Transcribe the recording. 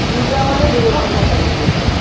পূজা হলে দেড় ঘন্টা time পেয়ে যেতাম।